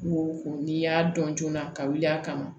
Ko ko n'i y'a dɔn joona ka wuli a kama